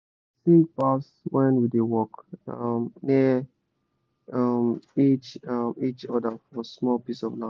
we da sing pass when we da work um near um each um each other for small piece of land